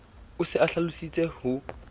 o se a hlalositse ho